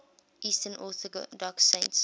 eastern orthodox saints